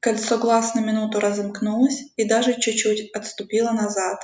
кольцо глаз на минуту разомкнулось и даже чуть чуть отступило назад